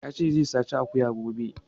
Ya ce zai saci akuya gobe